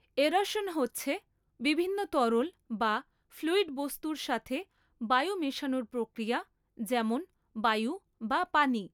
Aeration হচ্ছে বিভিন্ন তরল বা ফ্লুইড বস্তুর সাথে বায়ু মেশানোর প্রক্রিয়া যেমন বায়ু বা পানি।